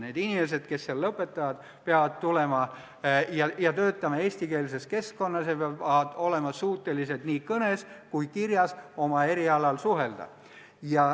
Need inimesed, kes selle lõpetavad, peavad tulema eestikeelsesse keskkonda ja siin tööle asuma ning nad peavad olema suutelised nii kõnes kui ka kirjas oma erialal suhtlema.